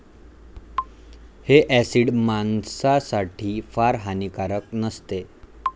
हे ऍसिड माणसासाठी फार हानिकारक नसते.